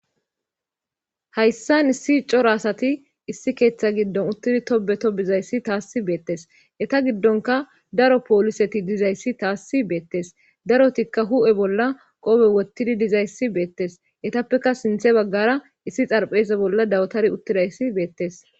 Hayssan issi coro asati issi keeththa giddon uttidi tobe to bizayssi taassi beettes eta giddonka daro pooliseti dizayssi taassi beettes darotikka hu7e bolla qoobe wottidi dizayssi beettes etappeka sinthe baggara issi xarphese bolla dawtari uttidayssi beettes.